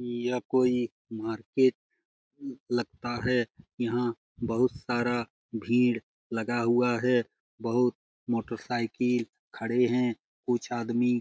यह कोई मार्केट लगता है। यहाँ बहुत सारा भीड़ लगा हुआ है। बहुत मोटरसाइकिल खड़े हैं। कुछ आदमी